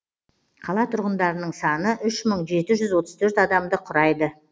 қала тұрғындарының саны үш мың жеті жүз отыз төрт адамды құрайды